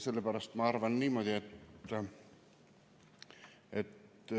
Sellepärast ma arvan niimoodi, et